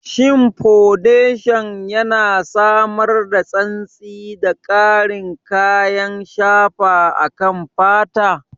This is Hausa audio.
Shin fodeshan yana samar da santsi da ƙarin kayan shafa akan fata?